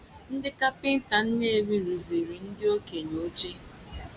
Ndị kapịnta Nnewi rụziri ndị okenye oche.